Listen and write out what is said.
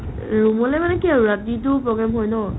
room লে মানে কি আৰু ৰাতিটো program হয় ন ?